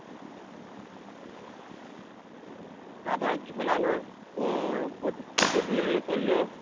তারপরে ঝোলানোর প্রতিশ্রুতি দিয়ে এ করলো